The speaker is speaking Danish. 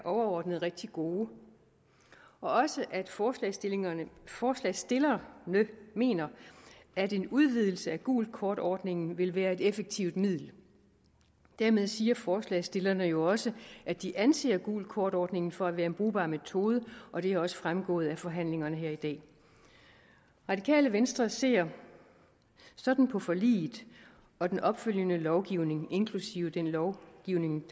overordnet er rigtig gode og også at forslagsstillerne forslagsstillerne mener at en udvidelse af gult kort ordningen vil være et effektivt middel dermed siger forslagsstillerne jo også at de anser gult kort ordningen for at være en brugbar metode og det er også fremgået af forhandlingerne her i dag radikale venstre ser sådan på forliget og den opfølgende lovgivning inklusive den lovgivning